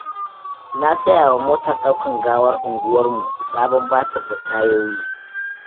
Na sayawa motar ɗaukar gawar unguwarmu sabon batiri da tayoyi.